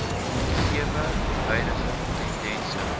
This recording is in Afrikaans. gegewe huidige tendense